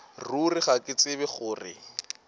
ruri ga ke tsebe gore